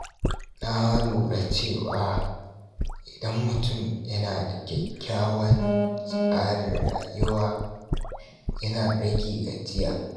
Na lura cewa idan mutum yana da kyakkyawan tsarin rayuwa, yana rage gajiya.